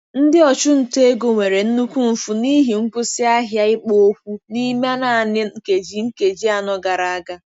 Ndị ọchụnta ego nwere nnukwu mfu n'ihi nkwụsị ahịa ikpo okwu n'ime naanị nkeji nkeji anọ gara aga.